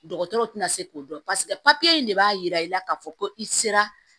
Dɔgɔtɔrɔw tɛna se k'o dɔn paseke papiye in de b'a yira i la k'a fɔ ko i sera